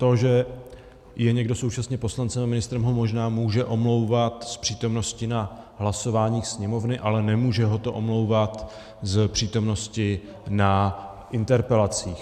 To, že je někdo současně poslancem a ministrem, ho možná může omlouvat z přítomnosti na hlasování Sněmovny, ale nemůže ho to omlouvat z přítomnosti na interpelacích.